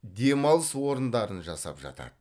демалыс орындарын жасап жатады